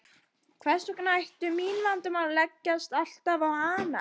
Hvers vegna ættu mín vandamál alltaf að leggjast á hana.